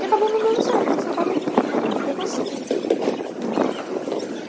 E acabou não dando certo, me separei dele e fiquei com as cinco, né. Uhum